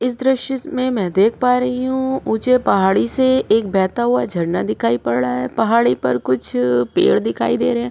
इस दृश्य में देख पा रही हूँ ऊँचे पहाड़ी से एक बहता हुआ झरना दिखाई पड़ रहा है पहाड़ी पर कुछ पेड़ दिखाई दे रहे है।